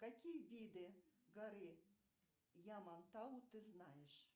какие виды горы ямантау ты знаешь